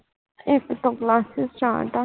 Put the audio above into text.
ਇਕ ਤੋਂ classes start ਆ